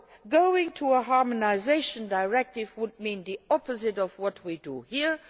Going to a harmonisation directive would mean the opposite of what we do here.